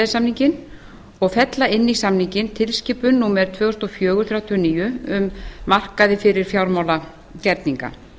samninginn og fella inn í samninginn tilskipun númer tvö þúsund og fjögur þrjátíu og níu um markaði fyrir fjármálagerninga